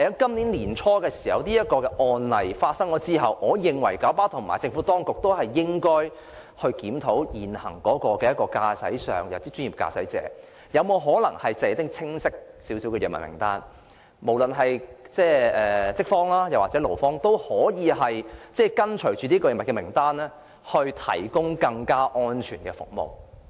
在年初發生這宗案例之後，我認為九巴和政府當局應該進行檢討，研究可否為專業駕駛者訂出比較清晰的藥物名單，令無論是資方或勞方也可按照名單行事，以提供更安全的服務。